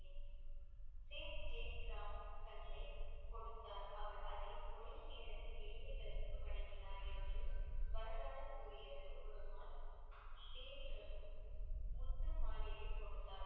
கொடுத்தார். அவர் அதை ஒரே நேரத்தில் ஏழைகளுக்கு வழங்கினார் என்று வரலாறு கூறியது ஒரு முத்து மாலையை கொடுத்தார்,